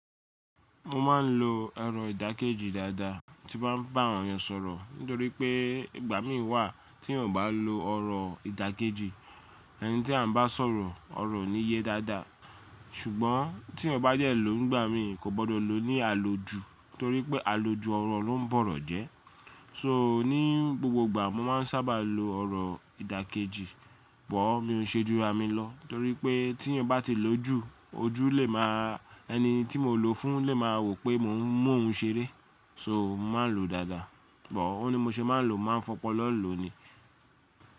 Mo má ń lo ọ̀rọ̀ ìdàkejì dáadáa tí mo bá ń bá àwọn èèyàn sọ̀rọ̀ nítorí pé ìgbà mí wà tíyan ò bá lo ọ̀rọ̀ ìdàkejì, ẹni tí a bá sọ̀rọ̀ ọ̀rọ̀ ò ní yé dáadáa. Ṣùgbọ́n tíyan bá dẹ̀ ló ńgbà mí kò gbọdọ̀ lo ní àlòjù nítorí pé àlòjù ọ̀rọ̀ ló ń bọ̀rọ̀ jẹ́. So ní gbogbogbà mo má ń sábà lo ọ̀rọ̀ ìdàkejì but mi ò nṣe jura mi lọ torí pé tíyan bá ti lò ojú, ẹni tí mo lò ó fún lè máa wò pé mò ń mú òun ṣeré. So mo má ń lo dáadáa but ò ni bí mo ṣe máa ń lo mo máa nfọpọlọ̀ ló ni.